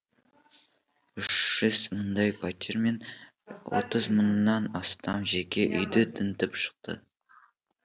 үш жүз мыңдай пәтер мен отыз мыңнан астам жеке үйді тінтіп шықты